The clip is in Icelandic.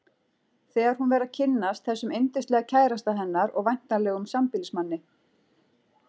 Þegar hún fer að kynnast þessum yndislega kærasta hennar og væntanlegum sambýlismanni.